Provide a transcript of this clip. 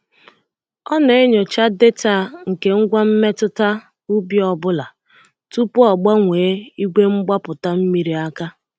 Ọ na-enyocha data nke ngwa mmetụta ubi ọ bụla tupu ọ gbanwee igwe mgbapụta mmiri aka.